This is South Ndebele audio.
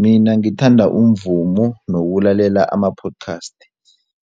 Mina ngithanda umvumo nokulalela ama-podcast